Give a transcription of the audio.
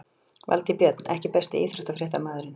Valtýr Björn EKKI besti íþróttafréttamaðurinn?